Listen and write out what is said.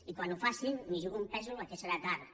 i quan ho facin m’hi jugo un pèsol que serà tard